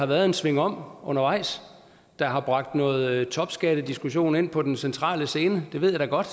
været en svingom undervejs der har bragt noget topskattediskussion ind på den centrale scene det ved jeg da godt